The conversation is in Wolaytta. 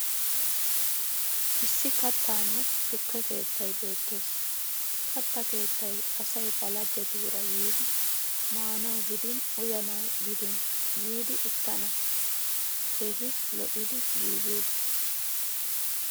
Issi kattanne tukke keettay beettes. Katta keettay asay ba laggetuura yiidi maanawu gidin uyanawu gidin yiidi uttana keehi lo'idi giigi uttis.